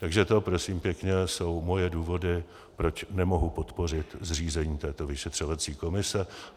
Takže to, prosím pěkně, jsou moje důvody, proč nemohu podpořit zřízení této vyšetřovací komise.